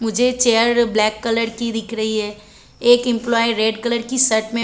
मुझे chair black colour की दिख रही है एक एम्प्लोयी रेड कलर की शर्ट में--